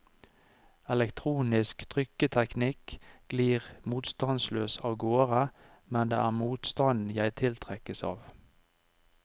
Elektronisk trykkteknikk glir motstandsløst avgårde, men det er motstanden jeg tiltrekkes av.